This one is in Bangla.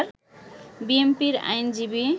বিএনপির আইনজীবী